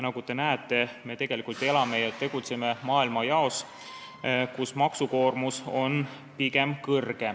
Nagu te näete, me elame ja tegutseme maailmajaos, kus maksukoormus on pigem kõrge.